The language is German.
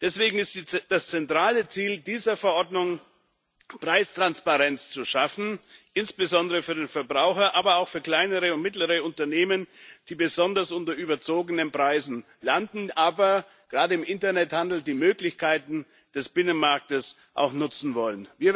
Deswegen ist es das zentrale Ziel dieser Verordnung, Preistransparenz zu schaffen, insbesondere für den Verbraucher, aber auch für kleinere und mittlere Unternehmen, die besonders unter überzogenen Preisen leiden, aber die gerade die Möglichkeiten des Binnenmarkts im Internethandel auch nutzen wollen.